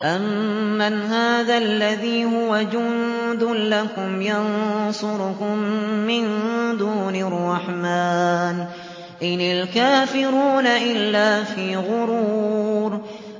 أَمَّنْ هَٰذَا الَّذِي هُوَ جُندٌ لَّكُمْ يَنصُرُكُم مِّن دُونِ الرَّحْمَٰنِ ۚ إِنِ الْكَافِرُونَ إِلَّا فِي غُرُورٍ